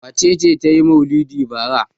Wace ce ta yi maulidi bara?